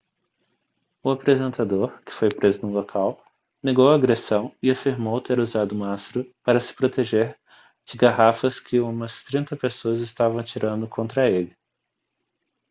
o apresentador que foi preso no local negou a agressão e afirmou ter usado o mastro para se proteger de garrafas que umas trinta pessoas estavam atirando contra ele